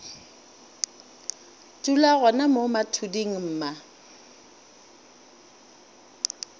dula gona mo mathuding mma